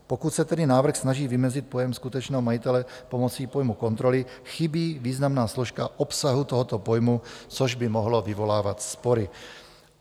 Pokud se tedy návrh snaží vymezit pojem skutečného majitele pomocí pojmu kontroly, chybí významná složka obsahu tohoto pojmu, což by mohlo vyvolávat spory.